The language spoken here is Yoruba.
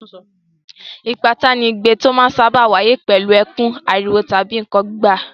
Ìpátá ni igbe tó máa ń sáábà wáyé pẹ̀lú ẹkún, ariwo tàbí nǹkan gbígbá.